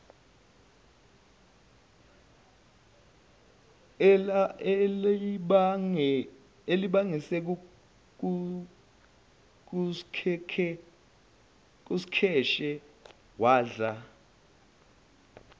elibangise kuskheshe wadla